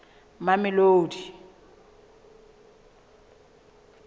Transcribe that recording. mamelodi